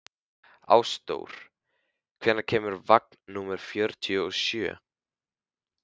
Ásdór, hvenær kemur vagn númer fjörutíu og sjö?